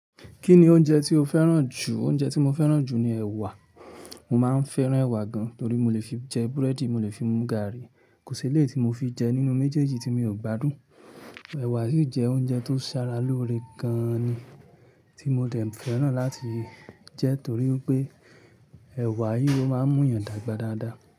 Kí ni oúnjẹ tí o fẹ́ràn jù? Oúnjẹ tí mo fẹ́ràn jù ni ẹ̀wà. Mo máa ń fẹ́ràn ẹ̀wà gan, torí mo lè fi jẹ búrẹ́dì, mo lè fi mú gààrí. Kò sí ilé tí mo fi jẹ nínú méjèèjì tí mi ò gbádùn. Ẹ̀wà sìí jẹ́ oúnjẹ tó ṣàrà lóore gan ni tí mo dẹ̀ n fẹ́ràn láti jẹ torí pé ẹ̀wà yìí ó máa ń mú yàn dàgbà dáadáa.